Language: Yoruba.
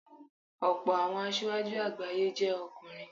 Ọ̀pọ̀ àwọn asíwájú àgbáyé jẹ́ ọkùnrin.